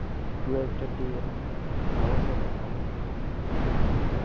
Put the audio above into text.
twelve-thirty AM ত। চাবা চাবা, বৰ ভাল match হ'ব, final হ'ব।